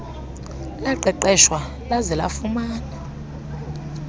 laqeqeshwa laze lafumana